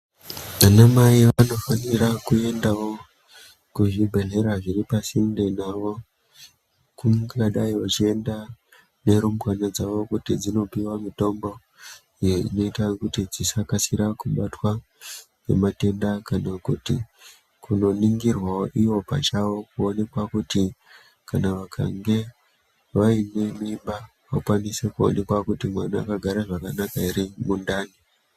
Ana mai anofanira kue dawo kuzvibhedhlera zviri pasinde nawo kungadai vechienda nerumbwana dzavo kuti dzinopiwa mutombo iyo inoita kuti dzisakasira kubatwa nematenda kana kuti kunonigirwawo iwo pachawo kuonekwa kutu kana anemimba mwana akagara zvakanaka here mundani.